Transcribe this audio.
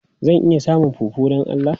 Zan iya samun fufu don Allah?